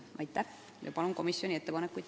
Aitäh!